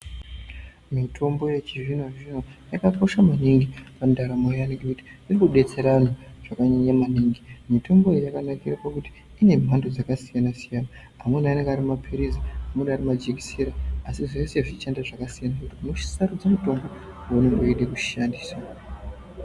Mitombo yechizvino zvino yakakosha maningi pandaramo yevantu ngekuti irikubetsera vantu zvakanyanya maningi, mitombo iyi yakanakire pakuti inemhando dzakasiyana siyana amweni anenge arimaphilizi, amweni arimajekisera asi zvese zvichishande zvakasiyana unosarudze waunenge weide kushandisa.